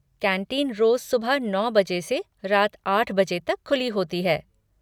Canteen रोज़ सुबह नौ बजे से रात आठ बजे तक खुली होती है।